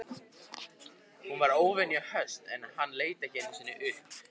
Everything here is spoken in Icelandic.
Hún var óvenju höst en hann leit ekki einu sinni upp.